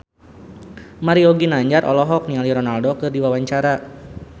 Mario Ginanjar olohok ningali Ronaldo keur diwawancara